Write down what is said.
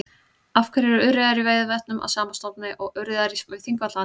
Af hverju eru urriðar í Veiðivötnum af sama stofni og urriðar í Þingvallavatni?